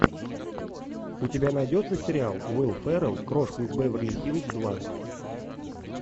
у тебя найдется сериал уилл феррелл крошка из беверли хиллз два